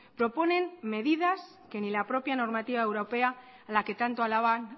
proponen medidas que ni la propia normativa europea a la que tanto alaban